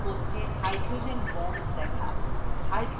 অণুর মধ্যে hydrogen bond দেখা